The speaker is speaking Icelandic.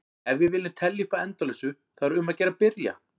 Ef við viljum telja upp að endalausu þá er um að gera að byrja!